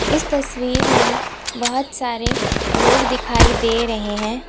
इस तस्वीर में बहुत सारे लोग दिखाई दे रहे हैं।